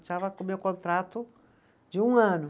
meu contrato de um ano.